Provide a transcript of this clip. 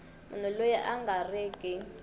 munhu loyi a nga riki